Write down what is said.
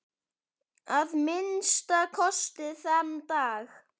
Að minnsta kosti þann dag.